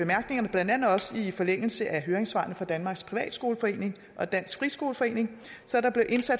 blandt andet også i forlængelse af høringssvarene fra danmarks privatskoleforening og dansk friskoleforening